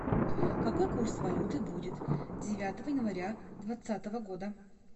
какой курс валюты будет девятого января двадцатого года